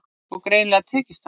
Og greinilega tekist það.